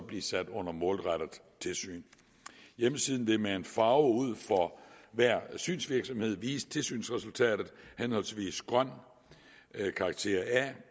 blive sat under målrettet tilsyn hjemmesiden vil med en farve ud for hver synsvirksomhed vise tilsynsresultatet henholdsvis grøn ved karakteren a